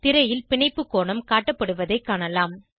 திரையில் பிணைப்பு கோணம் காட்டப்படுவதைக் காணலாம்